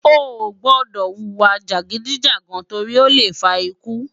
Oógbòdò wúwa jágidijá tòri ólé fá ikú